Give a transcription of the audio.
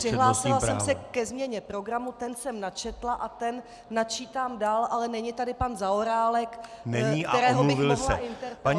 Přihlásila jsem se ke změně programu, ten jsem načetla a ten načítám dál, ale není tady pan Zaorálek, kterého bych mohla interpelovat.